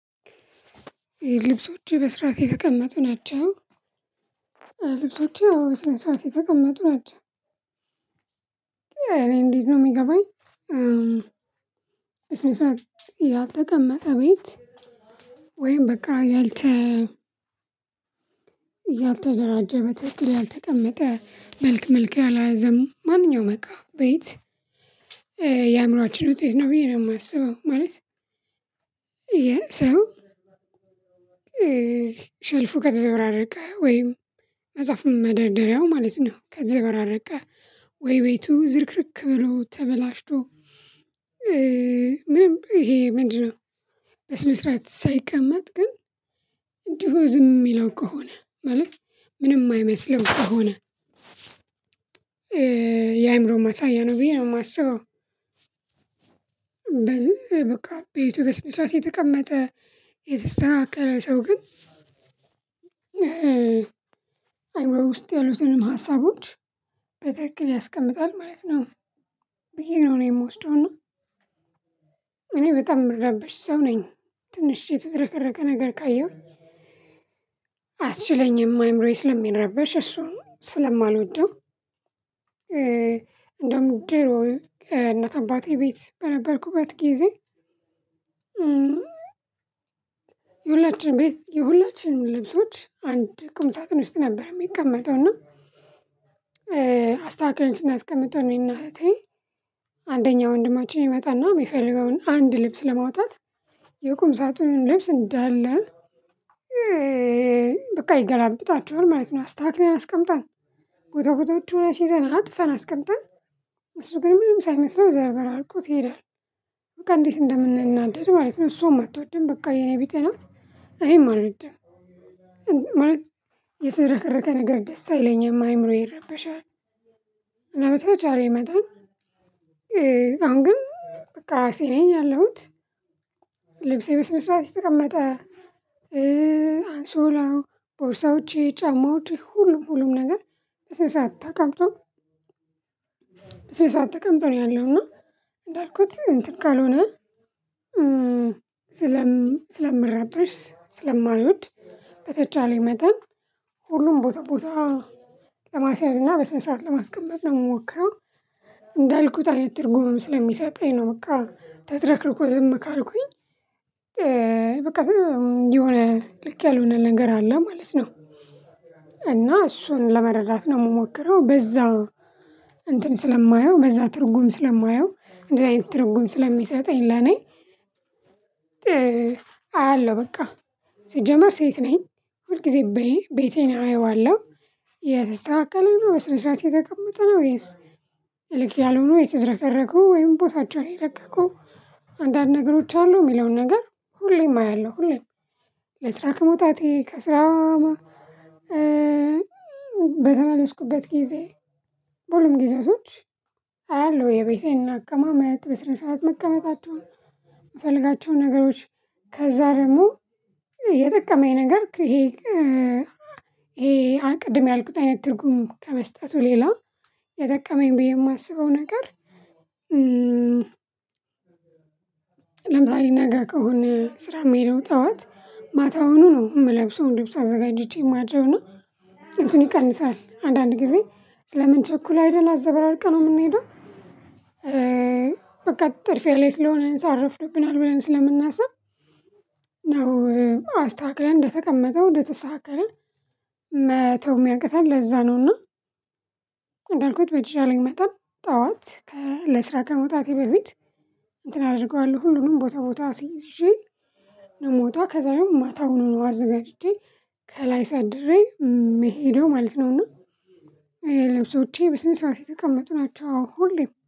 ልብሶች በስራት የተቀመጡ ናቸው ልብሶች አወ በስነ ስራት የተቀመጡ ናቸው። እኔ እንዴት ነው ሚገባኝ? በስነ ስርዓት ያልተቀመጠ ቤት። ወይም በቃ። ያልተ በትክክል ያልተቀመጠ መልክ መልክ ያልያዘም ማንኛውም እቃ ቤት። የአእምሮአችን ውጤት ነው ብዬ ነው ማስበው ማለት። የሰው ሸልፉ ከተዘበራረቀ ወይም መጽሐፍም መደርደሪያው ማለት ነው ከተዘበራረቀ ወይ ቤቱ ዝርክርክ ብሎ ተበላሽቶ። ምንም እሄ ምንድነው? በስነ ስርዓት ሳይቀመጥ ግን እንዲህ ዝም ሚለው ከሆነ ማለት ምንም ማይመስለው ከሆነ። የአይምሮ ማሳያ ነው ብዬ ማስበው። በዝህ በቃ ቤቱ በስነስርዓት የተቀመጠ የተስተካከለ ሰው ግን አይውረው ውስጥ ያሉትንም ሀሳቦች በትክክል ያስቀምጣል ማለት ነው። ብዬ ነው እኔ ምወስደው እና። እኔ በጣም ምረበሽ ሰው ነኝ። ትንሽ የተዝረከረከ ነገር ካየሁ። አያስችለኝም አይምሮዬ ስለሚረበሽ እሱ ስለማልወደው። እንደውም ድሮ እናት አባቴ ቤት በነበርኩበት ጊዜ። የሁላችን ቤት የሁላችንም ልብሶች አንድ ቁም ሳጥን ውስጥ ነበር ሚቀመጠው እና። አስተካክልን ስናስቀምጠው እኔና እህቴ አንደኛ ወንድማችን ይመጣና ሚፈልገውን አንድ ልብስ ለማውጣት የቁምሳጥኑን ልብስ እንዳለ። በቃ ይገላብጣቸዋል ማለት ነው። አስታካክሌን አስቀምጠን ቦታ ቦታዎች አሲዘን አጥፋን አስቀምጠን እሱ ግን ምንም ሳይመስለው ዘበራርቆት ይሄዳል። በቃ እንዴት እንደምንናደድ ማለት ነው እሱዋም አትወድም በቃ የኔ ቢጤ ናት። እኔም አልወድም። ማለት የተዘረከረከ ነገር ደስ አይለኝም አይምሮዬ ይረበሻል። እና በተቻለኝ መጠን አሁን ግን በቃ ሲለኝ ያለሁት። ልብሴ በስነ ስርዓት የተቀመጠ አንሶላው ቦርሳዎቼ ጫማዎች ሁሉም ሁሉም ነገር በስነ ሰርዓት ተቀምጦ። በስነ ሰርዓት ተቀምጦ ነው ያለው እና እንዳልኩት እንትን ካልሆነ። ስለምረበሽ ስለማልወድ በተቻለኝ መጠን ሁሉም ቦታ ቦታ ለማስያዝ እና በስነ ሰራዓት ለማስቀመጥ ነው ምሞክረው። እንዳልኩት አይነት ትርጉምም ስለሚሰጣኝ ነው በቃ ተዝረክርኮ ዝም ካልኩኝ በቃ ዝም የሆነ ልክ ያልሆነ ነገር አለ ማለት ነው። እና እሱን ለመረዳት ነው ምሞክረው በዛ እንትን ስለማየው በዛ ትርጉም ስለማየው እንደዚህ አይነት ትርጉም ስለሚሰጠኝ ለኔ። አያለሁ በቃ ሲጀመር ሴት ነኝ ሁል ጊዜ በይ ቤቴን አየዋለሁ። የተስተካከለ በስነ ስርዓት የተቀመጠ ነው ወይስ? ልክ ያልሆነው የተዘረከረከው ወይም ቦታቸውን የለቀቁ አንዳንድ ነገሮች አሉ ሚለውን ነገር። ሁሌም አያለሁ ሁሌም። ለስራ ከመውጣቴ ከስራ በተመለስኩበት ጊዜ በሁሉም ጊዜያቶች። አያለሁ የቤቴን አቀማመጥ በስነ ስርዓት መቀመጣቸውን ምፈልጋቸው ነገሮች። ከዛ ደሞ የጠቀመኝ ነገር ይሄ ይሄ ቅድም ያልኩት አይነት ትርጉም ከመስጠቱ ሌላው የጠቀመኝ ብዬ ማስበው ነገር። ለምሳሌ ነገ ከሆነ ስራ ሚሆደው ጠዋት ማታውኑ ነው ምለብሰውን ልብስ አዘጋጅቼ ማድረው እና ነው። እንትኑ ይቀንሳል አንዳንድ ጊዜ ስለምንቸኩል አይደለ አዘበራርቀነው ምንሄደው። በቃ ጥድፊያ ላይ ስለሆነ ሳዓት ረፍዶብናል ብለን ስለምናስብ ነው። አስተካክለን እንደተቀመጠው እንደተሰተካከለ መተው ሚያቅተን ለዛ ነውና። እንደልኩት በተቻለኝ መጠን ጣዋት ለስራ ከመውጣቴ በፊት እንትን አድርገዋለሁ ሁሉንም ቦታ ቦታ አስይዤ። ነው ምወጣ ከዛ ደሞ ማታ ሁኖ ነው አዘጋጅቼ ከላይ ሳድሬ መሄደው ማለት ነውና። ልብሶቼ በስን ሰርዓት የተቀመጡ ናቸው ሁሌም